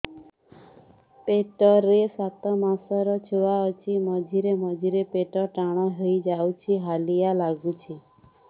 ପେଟ ରେ ସାତମାସର ଛୁଆ ଅଛି ମଝିରେ ମଝିରେ ପେଟ ଟାଣ ହେଇଯାଉଚି ହାଲିଆ ଲାଗୁଚି